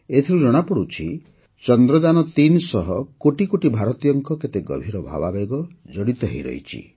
ଏଥିରୁ ଜଣାପଡ଼ୁଛି ଯେ ଚନ୍ଦ୍ରଯାନ୩ ସହ କୋଟି କୋଟି ଭାରତୀୟଙ୍କ କେତେ ଗଭୀର ଭାବାବେଗ ଜଡ଼ିତ ହୋଇରହିଛି